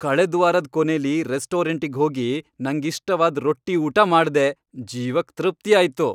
ಕಳೆದ್ವಾರದ್ ಕೊನೇಲಿ ರೆಸ್ಟೋರಂಟಿಗ್ ಹೋಗಿ ನಂಗಿಷ್ಟವಾದ್ ರೊಟ್ಟಿ ಊಟ ಮಾಡ್ದೆ, ಜೀವಕ್ ತೃಪ್ತಿಯಾಯ್ತು.